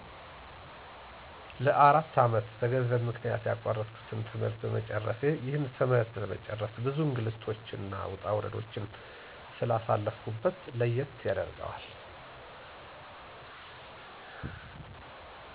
ለ፬አመት በገንዘብ ምክንያት ያቋረጥሁትን ትምህርት በመጨረሴ። ይህን ትምህርት ለመጨረስ ብዙ እንግልቶችንና ውጣውረዶችን ስላሳለፍሁበት ለየት ያደርገዋል።